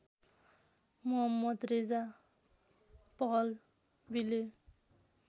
Mohammad Reza पहलवीले